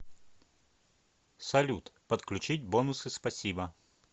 салют подключить бонусы спасибо